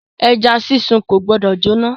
Ẹja sísun ko gbọdọ jóná.